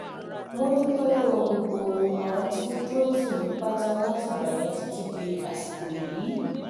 mo dúpẹ́ lọ́wọ́ gbogbo àwọn tí wọ́n dúró tì mí pátá látìgbà yẹn títí di àsìkò yìí